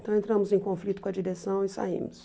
Então entramos em conflito com a direção e saímos.